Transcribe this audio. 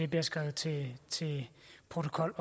bliver skrevet til protokols